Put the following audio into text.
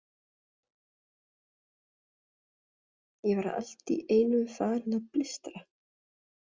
Ég var allt í einu farinn að blístra.